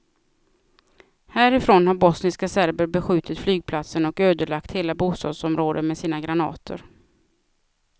Härifrån har bosniska serber beskjutit flygplatsen och ödelagt hela bostadsområden med sina granater.